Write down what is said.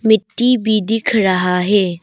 मिट्टी भी दिख रहा है।